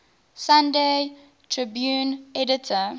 sunday tribune editor